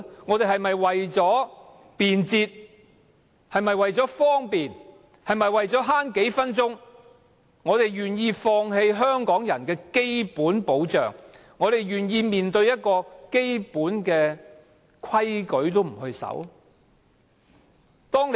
我們是否要為了便捷、為了節省數分鐘時間，而願意放棄香港人的基本保障，願意面對連基本規矩也不遵守的社會？